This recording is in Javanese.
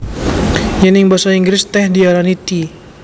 Yèn ing basa Inggris tèh diarani tea